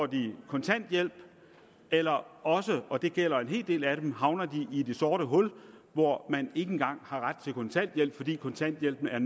de kontanthjælp eller også og det gælder en hel del af dem havner de i det sorte hul hvor man ikke engang har ret til kontanthjælp fordi kontanthjælpen er